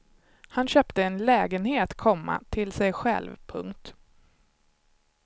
Han köpte en lägenhet, komma till sig själv. punkt